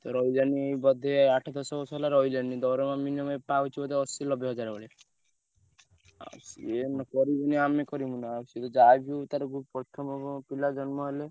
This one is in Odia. ରହିଲାଣି ବୋଧେ ଆଠ ଦଶ ବର୍ଷ ହବ ରହିଲାଣି ଦରମା minimum ପାଉଛି ବୋଧେ ଅଶୀ ନବେ ହଜାର ଭଳିଆ ସିଏ କରିବେନି ଆମେ କରିବୁ ନାଁ ସିଏ ଯାହାବି ପିଲା ଜନ୍ମ ହେଲେ।